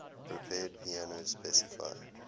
prepared piano specify